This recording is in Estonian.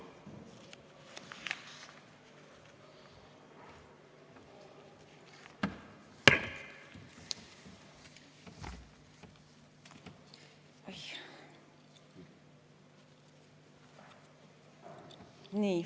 Nii.